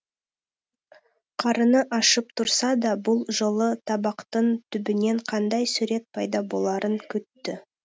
қарыны ашып тұрса да бұл жолы табақтың түбінен қандай сурет пайда боларын күтті